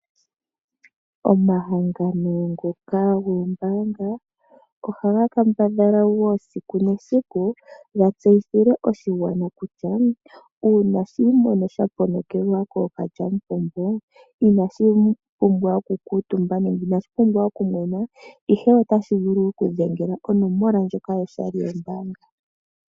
Omahangano ngoka goombaanga ohaga kambadhala esiku nesiku ga tseyithile oshigwana kutya uuna shi imono sha ponokelwa kookalyamupumbo inashi pumbwa okukuutumba nenge okumwena, ihe otashi vulu okudhengela onomola ndjoka yoshali yombaanga.